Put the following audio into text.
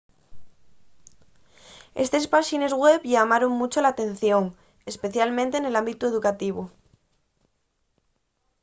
estes páxines web llamaron muncho l'atención especialmente nel ámbitu educativu